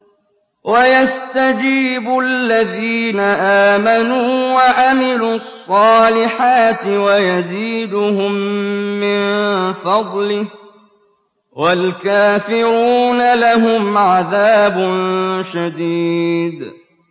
وَيَسْتَجِيبُ الَّذِينَ آمَنُوا وَعَمِلُوا الصَّالِحَاتِ وَيَزِيدُهُم مِّن فَضْلِهِ ۚ وَالْكَافِرُونَ لَهُمْ عَذَابٌ شَدِيدٌ